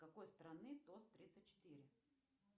какой страны тост тридцать четыре